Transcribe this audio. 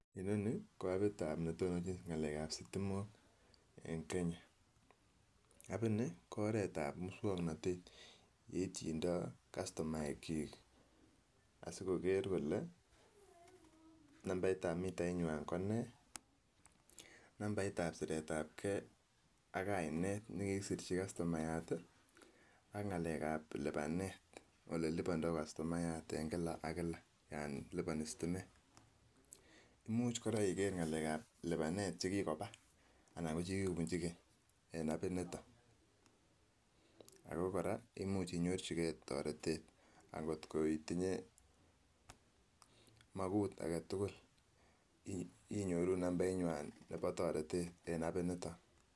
Inonii ko appit ab netononyin ngalek ab sitimok en Kenya. Appini ko oret ab muswongnotet yeityindoo customaekyik asi koger kole nambait ab mitainywan ko nee, nambait ab siret ab gee ak kainet nekikisirchi customayat ak ngalek ab libanet, ole libondoo customayat en kila ak kila yon libonii stimet, imuch koraa iger ngalek ab libanet che kigobaa ana ko chekikobuchi keny en appit niton ako koraa imuche inyorchigee toretet akot ngo itinye mogut agetugul inyoruu nambainywan nebo toretet en apii niton